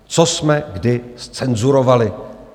Co jsme kdy zcenzurovali?